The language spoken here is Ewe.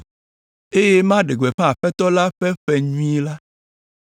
eye maɖe gbeƒã Aƒetɔ la ƒe ƒe nyui la.”